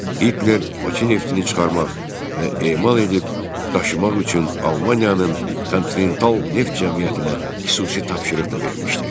Hitler Bakı neftini çıxarmaq və emal edib daşımaq üçün Almaniyanın kontinental neft cəmiyyətinə xüsusi tapşırıq da vermişdi.